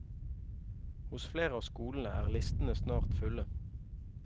Hos flere av skolene er listene snart fulle.